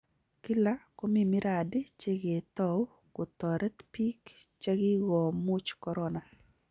Kila komi miradi che ketao kotarit biik chekigomuuch korona